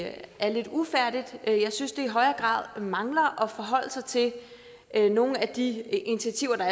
at det er lidt ufærdigt jeg synes at det i højere grad mangler at forholde sig til nogle af de initiativer der